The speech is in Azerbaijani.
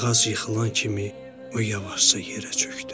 Ağac yıxılan kimi, yavaşca yerə çökdü.